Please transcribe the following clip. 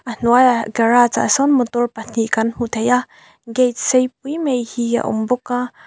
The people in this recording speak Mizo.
a hnuaihah garage ah sawn motor pahnih kan hmu thei a gate sei pui mai hi a awm bawk a.